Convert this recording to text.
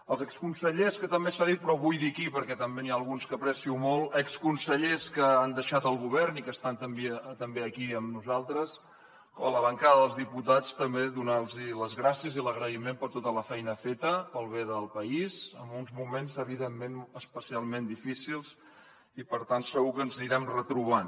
als exconsellers que també s’ha dit però ho vull dir aquí perquè també n’hi ha alguns que aprecio molt exconsellers que han deixat el govern i que estan també aquí amb nosaltres a la bancada dels diputats també donar los les gràcies i l’agraïment per tota la feina feta pel bé del país en uns moments evidentment especialment difícils i per tant segur que ens anirem retrobant